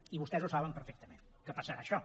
i vostès ho saben perfectament que passarà això